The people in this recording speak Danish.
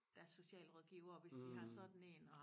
Deres socialrådgiver hvis de har sådan én og